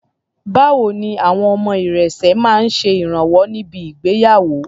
Báwo ni àwọn ọmọ irẹ̀sẹ̀ máa ń ṣe ìrànwọ́ ní bi ìgbéyàwó?